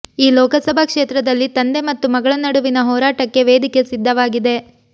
ಈ ಲೋಕಸಭಾ ಕ್ಷೇತ್ರದಲ್ಲಿ ತಂದೆ ಮತ್ತು ಮಗಳ ನಡುವಿನ ಹೋರಾಟಕ್ಕೆ ವೇದಿಕೆ ಸಿದ್ಧವಾಗಿದೆ